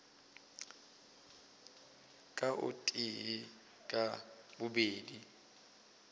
ka o tee ka babedi